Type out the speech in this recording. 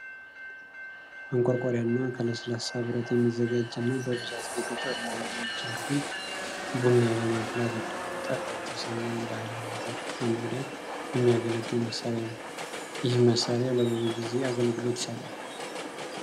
ማንቆርቆሪያና ከለስላሳ ብረት የሚዘጋጅ እና በብዛት በገጠሩ የሀገራችን ክፍል ቡና ለማፍላት እንዲሁም ጠላ የተሰኘውን ባህላዊ መጠጥ ለመቅዳት የሚያገለግል መሳሪያ ነው። ይህም መሳሪያ ለብዙ ጊዜ አገልግሎት ይሰጣል።